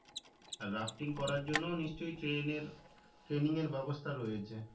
আর rafting করার জন্য নিশ্চই training এর training এর ব্যবস্থা রয়েছে